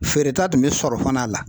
Feere ta tun be sɔrɔ fana a la.